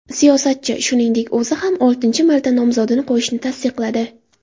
Siyosatchi, shuningdek, o‘zi ham oltinchi marta nomzodini qo‘yishini tasdiqladi.